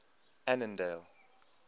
annandale